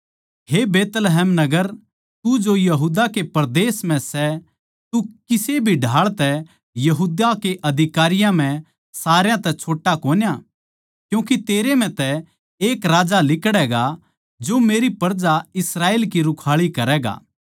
हे बैतलहम नगर तू जो यहूदा कै परदेस म्ह सै तू किसे भी ढाळ तै यहूदा कै अधिकारियां म्ह सारा तै छोट्टा कोन्या क्यूँके तेरै म्ह तै एक राजा लिकड़ैगा जो मेरी प्रजा इस्राएल की रुखाळी करैगा